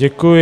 Děkuji.